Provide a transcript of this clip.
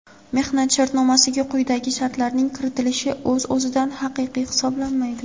mehnat shartnomasiga quyidagi shartlarning kiritilishi o‘z o‘zidan haqiqiy hisoblanmaydi:.